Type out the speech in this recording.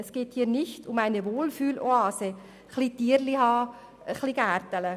Es geht hier nicht um eine Wohlfühloase im Sinne von: ein bisschen Tierchen halten, etwas gärtnern.